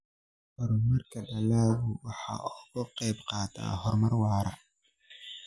Horumarka dalaggu waxa uu ka qayb qaataa horumar waara.